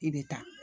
I bɛ taa